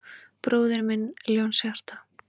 Bróðir minn Ljónshjarta